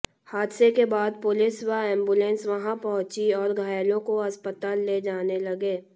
हादसे के बाद पुलिस व एंबुलेंस वहां पहुंची और घायलों को अस्पताल ले जाने लगे